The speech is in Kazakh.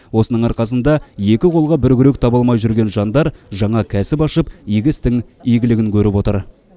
осының арқасында екі қолға бір күрек таба алмай жүрген жандар жаңа кәсіп ашып игі істің игілігін көріп отыр